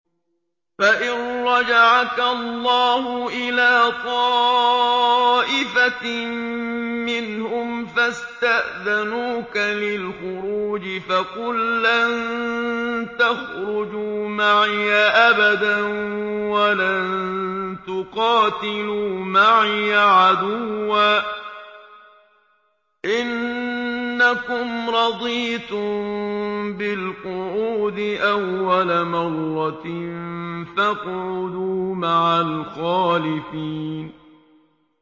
فَإِن رَّجَعَكَ اللَّهُ إِلَىٰ طَائِفَةٍ مِّنْهُمْ فَاسْتَأْذَنُوكَ لِلْخُرُوجِ فَقُل لَّن تَخْرُجُوا مَعِيَ أَبَدًا وَلَن تُقَاتِلُوا مَعِيَ عَدُوًّا ۖ إِنَّكُمْ رَضِيتُم بِالْقُعُودِ أَوَّلَ مَرَّةٍ فَاقْعُدُوا مَعَ الْخَالِفِينَ